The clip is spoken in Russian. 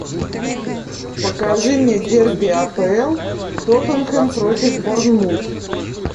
покажи мне дерби апл тоттенхэм против борнмут